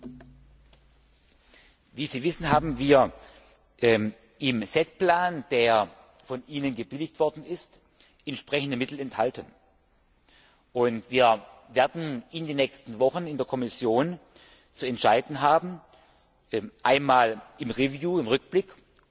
Wie Sie wissen, sind im SET Plan, der von Ihnen gebilligt worden ist, entsprechende Mittel enthalten. Wir werden in den nächsten Wochen in der Kommission zu entscheiden haben einmal im Rückblick und dann in der Vorausschau